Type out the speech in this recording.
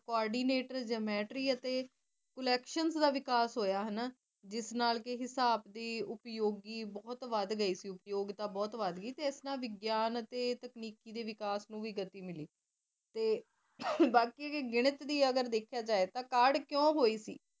ਜਿਸ ਨਾਲ ਹਿਸਾਬ ਦੀ ਉਪਯੋਗੀ ਬਹੁਤ ਵਧ ਗਈ ਸੀ ਉਪਯੋਗਤਾ ਬਹੁਤ ਵਧਗੀ ਸੀ ਇਸ ਤਰਾ ਵਿਗਿਆਨ ਅਤੇ ਤਕਨੀਕੀ ਦੇ ਵਿਕਾਸ ਨੂੰ ਵੀ ਗਤੀ ਮਿਲੀ ਬਾਕੀ ਗਣਿਤ ਨੂੰ ਅਗਰ ਦੇਖਿਆ ਜਾਏ ਤਾ ਗਣਿਤ ਦੀ ਕਾਢ ਕਿਉ ਹੋਈ